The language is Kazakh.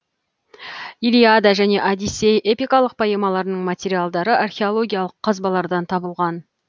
илиада және одиссей эпикалық поэмаларының материалдары археологиялық қазбалардан табылған